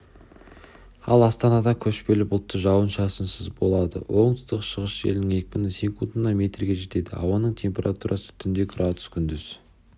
аластанада көшпелі бұлтты жауын-шашынсыз болады оңтүстік-шығыс желінің екпіні секундына метрге жетеді ауаның температурасы түнде градус күндіз